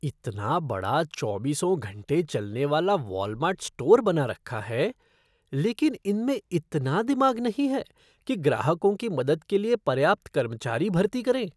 इतना बड़ा चौबीसों घंटे चलने वाला वॉलमार्ट स्टोर बना रखा है लेकिन इनमें इतना दिमाग नहीं है कि ग्राहकों की मदद के लिए पर्याप्त कर्मचारी भर्ती करें।